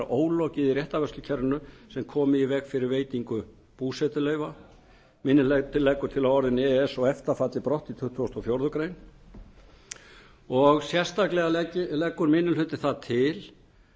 ólokið í réttarvörslukerfinu sem komi í veg fyrir veitingu búsetuleyfa minni hlutinn leggur til að orðin e e s eða efta falli brott í tuttugasta og fjórðu grein sérstaklega leggur minni hlutinn það til